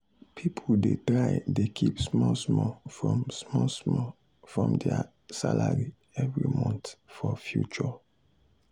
people dey try dey keep small small from small small from their salary every month for future.